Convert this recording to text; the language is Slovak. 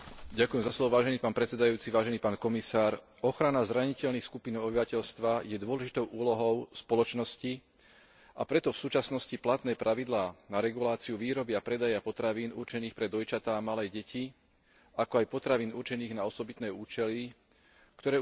Ochrana zraniteľných skupín obyvateľstva je dôležitou úlohou spoločnosti, a preto v súčasnosti platné pravidlá na reguláciu výroby a predaja potravín určených pre dojčatá a malé deti, ako aj potravín určených na osobitné účely, ktoré už nie sú v súlade s najnovšími vedeckými poznatkami,